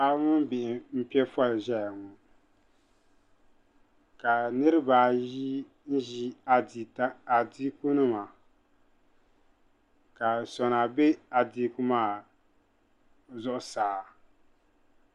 Paɣiba mini bihi m-pe foli ʒeya ŋɔ ka niriba ayi ʒi adiikunima ka sona be adiiku maa zuɣusaa.